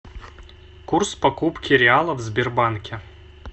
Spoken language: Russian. курс покупки реала в сбербанке